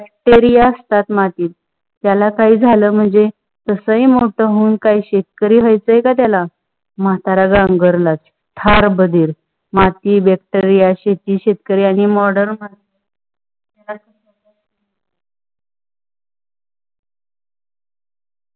bactiria असतात मातीत, त्याला काही झाल म्हणजे, तसई मोठ होऊन काई शेतकरी वह्याच आहे का त्याला? माताऱ्याला गंगारला ला फार बधीर माती bacteria शेती शेतकरी आणि modernmodern मानस.